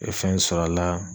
I be fɛn sɔrɔ a la